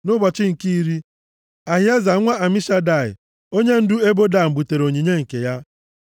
Nʼụbọchị nke iri, Ahieza nwa Amishadai, onyendu ebo Dan butere onyinye nke ya.